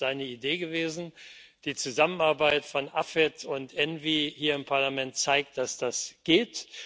Es ist seine Idee gewesen, die Zusammenarbeit von AFET und ENVI hier im Parlament zeigt, dass das geht.